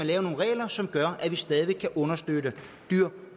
lave nogle regler som gør at vi stadig væk kan understøtte dyr